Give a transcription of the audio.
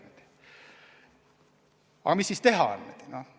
Mida siis teha?